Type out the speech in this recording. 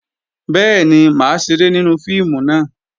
Bẹ́ẹ̀ni, mà á ṣeré nínú fíìmù náà